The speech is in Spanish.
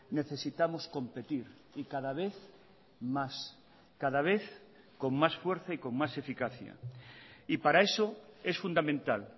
necesitamos competir y cada vez más cada vez con más fuerza y con más eficacia y para eso es fundamental